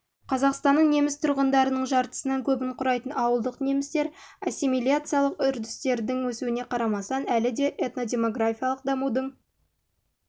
қазақстанның неміс тұрғындарының жартысынан көбін құрайтын ауылдық немістер ассимилияциялық үрдістердің өсуіне қарамастан әлі де этнодемографиялық дамудың